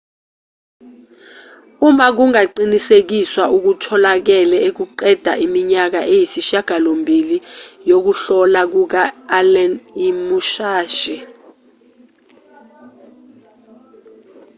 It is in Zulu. uma kungaqinisekiswa okutholakele kuqeda iminyaka eyisishiyagalombili yokuhlola kuka-allen imusashi